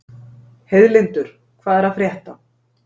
Heiðlindur, hvað er að frétta?